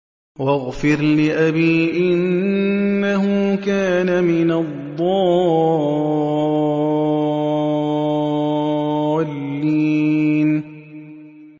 وَاغْفِرْ لِأَبِي إِنَّهُ كَانَ مِنَ الضَّالِّينَ